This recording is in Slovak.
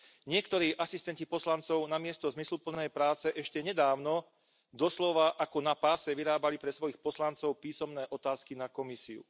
Niektorí asistenti poslancov namiesto zmysluplnej práce ešte nedávno doslova ako na páse vyrábali pre svojich poslancov písomné otázky na Komisiu.